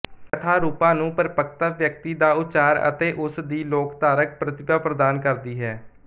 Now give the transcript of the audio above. ਕਥਾ ਰੂਪਾਂ ਨੂੰ ਪਰਪੱਕਤਾ ਵਿਅਕਤੀ ਦਾ ਉਚਾਰ ਅਤੇ ਉਸ ਦੀ ਲੋਕਧਾਰਕ ਪ੍ਰਤਿਭਾ ਪ੍ਰਦਾਨ ਕਰਦੀ ਹੈ